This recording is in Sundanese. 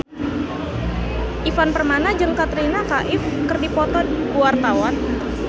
Ivan Permana jeung Katrina Kaif keur dipoto ku wartawan